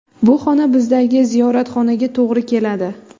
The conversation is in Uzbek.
Bu xona bizdagi ziyoratxonaga to‘g‘ri keladi.